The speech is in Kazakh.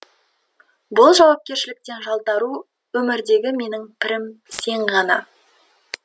бұл жауапкершіліктен жалтару өмірдегі менің пірім сен ғана